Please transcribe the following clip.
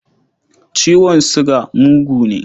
Ciwon suga mugu ne.